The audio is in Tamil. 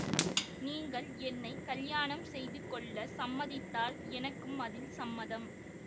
நீங்கள் என்னை கலியாணம் செய்துகொள்ளச் சம்மதித்தால் எனக்கும் அதில் சம்மதம்